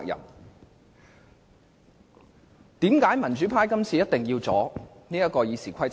為何民主派這次必須阻止修訂《議事規則》？